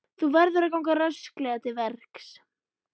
Þú verður að ganga rösklega til verks.